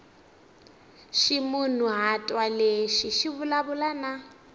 ximunhuhatwa lexi xi vulavula na